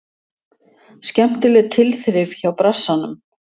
Skemmtileg tilþrif hjá Brassanum.